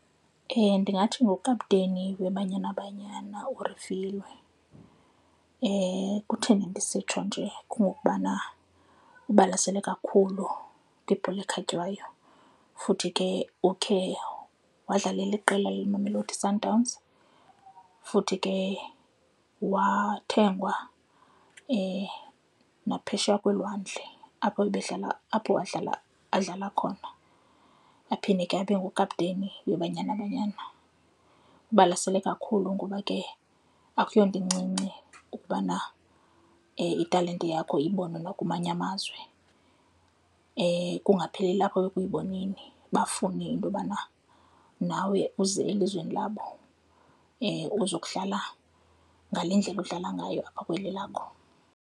Ndingathi ngukapteni weBanyana Banyana uRifiloe. Kutheni ndisitsho nje? Kungokubana ubalasele kakhulu kwibhola ekhatywayo futhi ke ukhe wadlalalela iqela leMamelodi Sundowns, futhi ke wathengwa naphesheya kolwandle apho ebedlala, apho wadlala, adlala khona. Aphinde ke abe ngukapteni weBanyana Banyana. Ubalasele kakhulu ngoba ke akuyonto incinci ukubana italente yakho ibonwe nakumanye amazwe kungapheleli apho ekuyiboneni, bafune into yobana nawe uze elizweni labo ozokudlala ngale ndlela udlala ngayo apha kweli lakho.